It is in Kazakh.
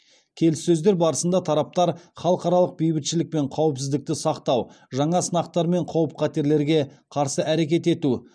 келіссөздер барысында тараптар халықаралық бейбітшілік пен қауіпсіздікті сақтау жаңа сынақтар мен қауіп қатерлерге қарсы әрекет ету